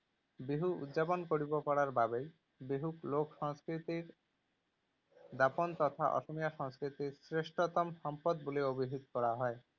বিহু উদযাপন কৰিব পৰাৰ বাবেই বিহুক লোক সংস্কৃতিক দাপোন তথা অসমীয়া সংস্কৃতিৰ শ্ৰেষ্ঠতম সম্পদ বুলি অভিহিত কৰা হয়।